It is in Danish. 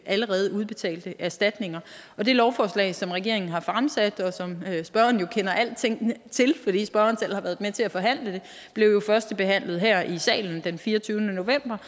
allerede udbetalte erstatninger det lovforslag som regeringen har fremsat og som spørgeren jo kender alt til fordi spørgeren selv har været med til at forhandle det blev førstebehandlet her i salen den fireogtyvende november